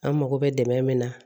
An mago bɛ dɛmɛ min na